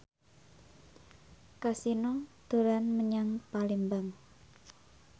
Kasino dolan menyang Palembang